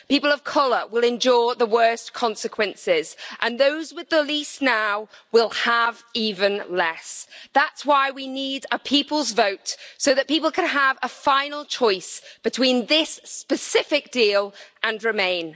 People of colour will endure the worst consequences, and those with the least now will have even less. That's why we need a people's vote so that people can have a final choice between this specific deal and Remain.